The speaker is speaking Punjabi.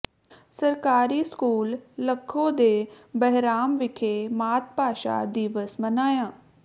ਸਰਕਾਰੀ ਸਕੂਲ ਲੱਖੋ ਕੇ ਬਹਿਰਾਮ ਵਿਖੇ ਮਾਤ ਭਾਸ਼ਾ ਦਿਵਸ ਮਨਾਇਆ